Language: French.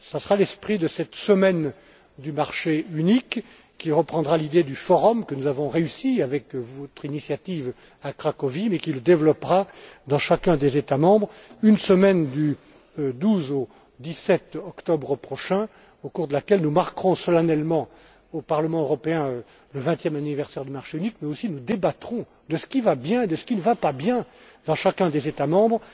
Ce sera l'esprit de cette semaine du marché unique, qui reprendra l'idée du forum que nous avons réussi à mettre en place à votre initiative à Cracovie, mais en le développant dans chacun des États membres, pendant la semaine du 15 au 20 octobre prochain, au cours de laquelle nous marquerons solennellement, au Parlement européen, le vingtième anniversaire du marché unique, mais nous débattrons aussi de ce qui va bien et de ce qui ne va pas bien dans chacun des États membres.